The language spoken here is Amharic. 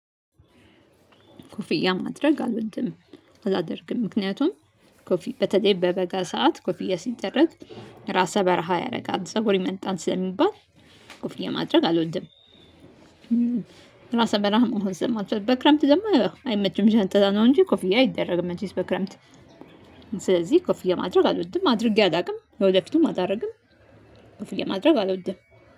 ኮፊያ ማድረግ አልወድም። አላደርግም ምክንያቱም ኮፊ በተለይ በበጋ ሰዓት ኮፊያ ሲደረግ ራሰ በረሃ ያደርጋል ፀጉር ይመልጣል ስለሚባል። ኮፊያ ማድረግ አልወድም። ራሰ በራ መሆን ስለማልፈልግ በክረምት ደግሞ ያው አይመችም ዣንጥላ ነው እንጂ ኮፊያ አይደረግም መቼስ በክረምት ስለዚህ ኮፍዬ ማድረግ አልወድም አድርጌ አላውቅም ወደፊቱም አላደርግም። ኮፍዬ ማድረግ አልወድም